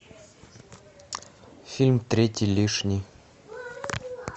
фильм третий лишний